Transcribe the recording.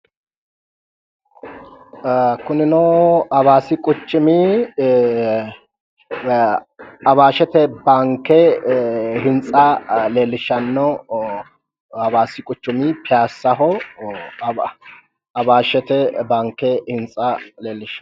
Kunino awaasi quchumi awaashete baanke hintsa leellishanno hawaasi quchumi piyaasaho awaashete baanke hintsa leellishshanno.